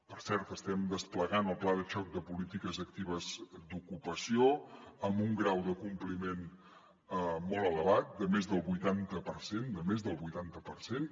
per cert estem desplegant el pla de xoc de polítiques actives d’ocupació amb un grau de compliment molt elevat de més del vuitanta per cent de més del vuitanta per cent